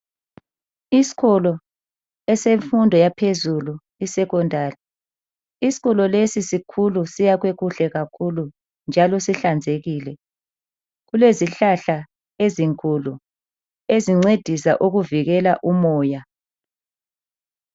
Isikolo esemfundo yaphezulu isekhondari, isikolo lesi sikhulu siyakhwe kuhle kakhulu njalo sihlanzekile, kulezi hlahla ezinkulu ezincedisa ukuvikela umoya.